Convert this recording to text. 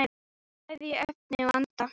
Bæði í efni og anda.